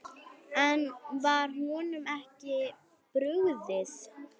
En var honum ekki brugðið?